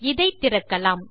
இதை திறக்கலாம்